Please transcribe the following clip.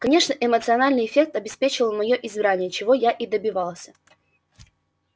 конечно эмоциональный эффект обеспечил моё избрание чего я и добивался